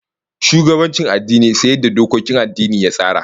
Shugabancin addini sai yadda dokokin addinin ya tsara